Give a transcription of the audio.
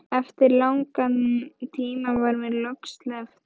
Eftir langan tíma var mér loks sleppt.